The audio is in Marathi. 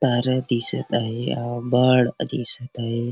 तारे दिसत आहे आभाळ दिसत आहे.